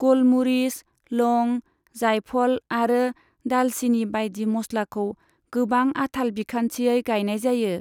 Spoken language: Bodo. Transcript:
गलमुरिस, लं, जायफल आरो दालचिनी बायदि मस्लाखौ गोबां आथाल बिखान्थियै गायनाय जायो।